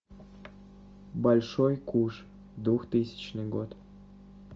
большой куш двухтысячный год